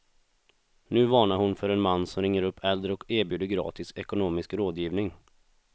Nu varnar hon för en man som ringer upp äldre och erbjuder gratis ekonomisk rådgivning.